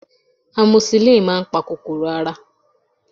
amoxicillin máà ń pa kòkòrò ara